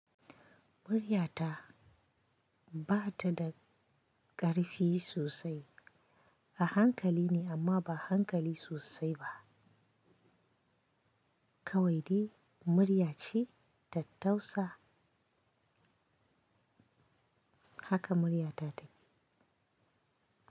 Muryata ba ta da ƙarfi sosai, a hankali ne amma ba hankali sosai ba. Kawai dai murya ce ta tausa haka muryata take.